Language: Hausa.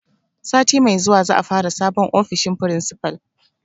Sati mai zuwa za a fara sabon ofishin principal.